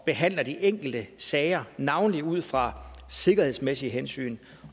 behandler de enkelte sager navnlig ud fra sikkerhedsmæssige hensyn